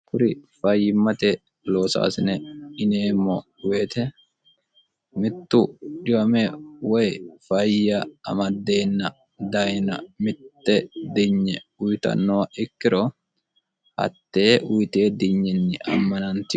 kuri fayyimmate loosaasine yineemmo woyite mittu dhiwame woy fayya amaddeenna dayina mitte dinye uyitannoha ikkiro hattee uyite dinyinni ammanantinore ikka noonsa.